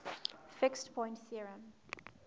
fixed point theorem